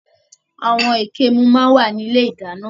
Àwọn ìkemù máa ń wà ní ilé ìdáná.